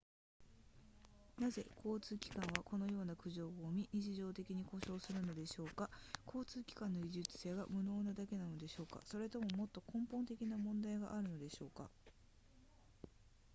なぜ交通機関はこのような苦情を生み日常的に故障するのでしょうか交通機関の技術者が無能なだけなのでしょうかそれとももっと根本的な問題があるのでしょうか